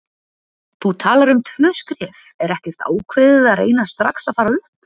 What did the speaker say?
Þú talar um tvö skref, er ekkert ákveðið að reyna strax að fara upp?